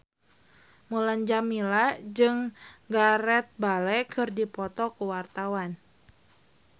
Mulan Jameela jeung Gareth Bale keur dipoto ku wartawan